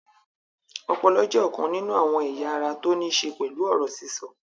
Ọpọlọ jẹ́ ọ̀kan nínú àwọn ẹ̀yà ara tó ní ṣe pẹ̀lú ọ̀rọ̀ sísọ